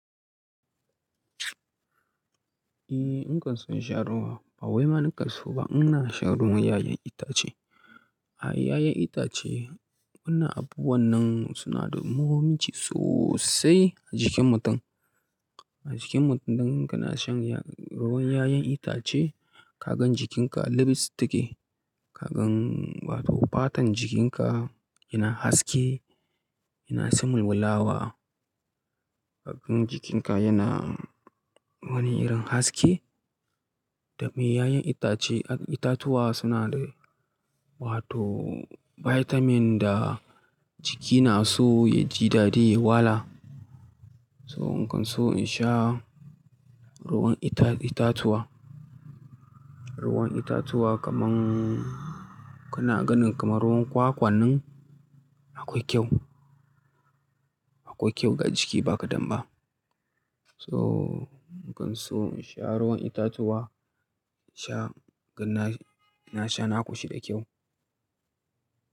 Eh, in kan so in sha ruwa. Ba wai ma nakanso ba, in na sha ruwan 'ya'yan itace. A 'ya'yan itace, wannan abubuwan nan suna da muhimmanci sosai a jikin mutum. A jikin mutum idan kana shan ruwan 'ya'yan itace, kagan jikinka llilis su take. Kagan, wato fatan jikinka yana haske, yana san walwalawa. Kagan jikinka yana wani irin haske. Da me? 'Ya'yan itace, itatuwa suna da wato vitamin da jiki na so ya ji daɗi, ya wala. So in kan so in sha ruwan ita-itatuwa, ruwan itatuwa kaman kana ganin kamar ruwan kwakwa nan akwai kyau. Akwai kyau ga jiki ba ka ɗanba so in kan so in sha ruwan itatuwa, sha-- na sha, na ƙoshi da kyau.